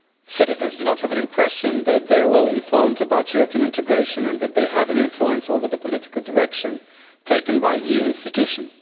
Citizens do not have an impression that they are well informed about European integration and that they have an influence over the political direction taken by EU institutions.